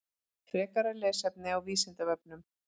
Frekara lesefni á Vísindavefnum: